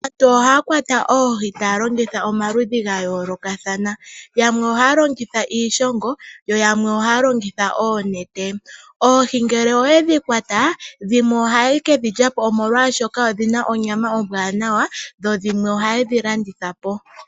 Aantu ohaya kwata oohi taya longitha omikalo dha yooloka yamwe ohaya longitha ooshongo yamwe ohaya longitha oonete. Oohi ngele odha kwatwa dhimwe ohadhi liwa po oshoka odhina onyama ombwanawa dhimwe ohadhi landithwa po.